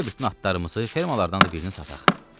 Gəl bütün atlarımızı, fermalardan da birini sataq.